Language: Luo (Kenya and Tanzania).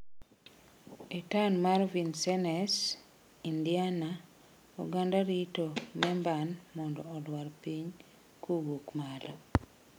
E taon mar Vincennes, Indiana, oganda rito memban mondo olwar piny kowuok malo!